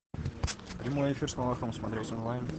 прямой эфир с малаховым смотреть онлайн